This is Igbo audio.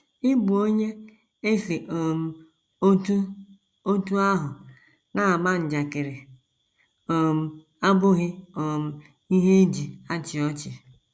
Ịbụ onye e si um otú otú ahụ na - ama njakịrị um abụghị um ihe e ji achị ọchị.